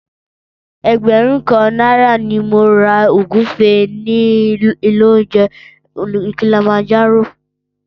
Ẹgbẹ̀rún kan náírà ni mo ra ògúfe nílé oúnjẹ Kilimanjaro